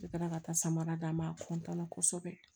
Ne taara ka taa samara d'a ma a na kosɛbɛ